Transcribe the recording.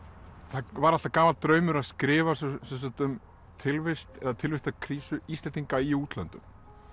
það var alltaf gamall draumur að skrifa um tilvist eða tilvist eða tilvistarkrísu Íslendinga í útlöndum